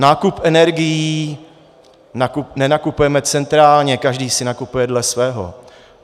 Nákup energií, nenakupujeme centrálně, každý si nakupuje dle svého.